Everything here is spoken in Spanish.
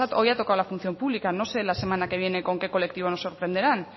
hoy ha tocado la función pública no sé la semana que viene con qué colectivo nos sorprenderán